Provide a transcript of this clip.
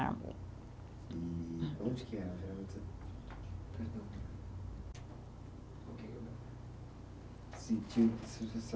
E onde que é perdão.